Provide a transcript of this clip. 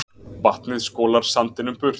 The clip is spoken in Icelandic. Vatnið skolar sandinum burt